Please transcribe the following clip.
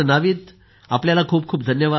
नाविद आपल्याला खूप खूप धन्यवाद